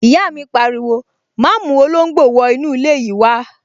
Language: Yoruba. Ìyá mi pariwo, 'má mú olóngbò wọ inú ilé yìí wá